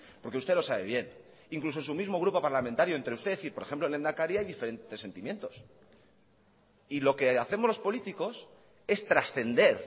porque usted lo sabe bien incluso en su mismo grupo parlamentario entre usted y por ejemplo el lehendakari hay diferentes sentimientos y lo que hacemos los políticos es trascender